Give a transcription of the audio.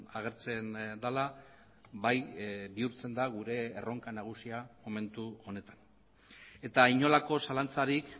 agertzen dela bai bihurtzen da gure erronka nagusia momentu honetan eta inolako zalantzarik